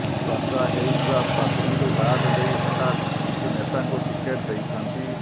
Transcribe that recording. ଚର୍ଚ୍ଚା େହଉଥିବା ପ୍ରାର୍ଥୀଙ୍କୁ ବାଦ ଦେଇ ହଠାତ୍ କିଛି େନତାଙ୍କୁ ଟିକେଟ୍ ଦେଇଥାନ୍ତି